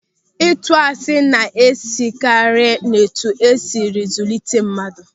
Ịtụ asị na-esikarị n'etu esiri zụlite mmadụ.